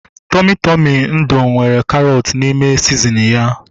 Tọmị Tọmị nudụ nwere karọt n'ime sizinin ya